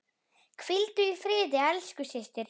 Hvíldu í friði elsku systir.